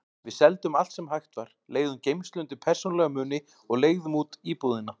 Við seldum allt sem hægt var, leigðum geymslu undir persónulega muni og leigðum út íbúðina.